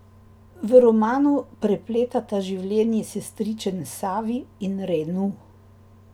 V romanu prepleta življenji sestričen Savi in Renu.